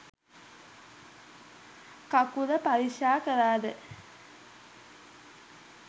කකුල පරික්ෂා කළද?